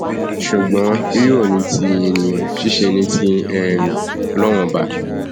ṣùgbọn rírọ ní tènìyàn ṣiṣẹ ní ti um ọlọrun ọba